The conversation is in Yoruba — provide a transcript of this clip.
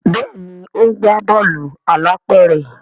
Béèni o ńgba Bọ́ọ̀lù alápẹ̀rẹ̀.